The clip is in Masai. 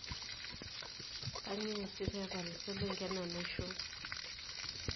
Kanyioo eeasi pee epal iselenken enaisho?